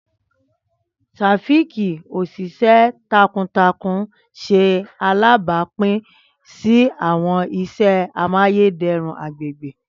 Taofiq, oṣiṣẹ takuntakun, ṣe alabapin si awọn iṣẹ amayederun agbegbe.